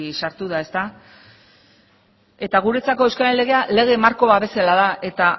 sartu da eta guretzako euskararen legea lege marko babesa da eta